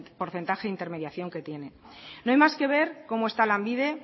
porcentaje de intermediación que tiene no hay más que ver cómo está lanbide